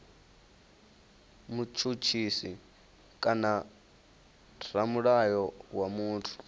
mutshutshisi kana ramulayo wa muthu